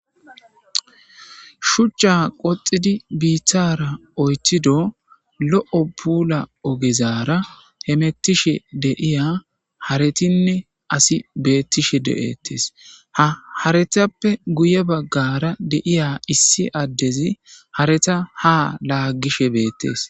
Shuchcha qoxidi biithara oytido lo7o puula ogezara hemettishe deiya haretinne asi beettishe de7ettes haretappe guye baggara deiya issi addezi hareta ha laagishe beettees.